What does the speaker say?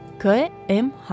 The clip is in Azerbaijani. K, M, H.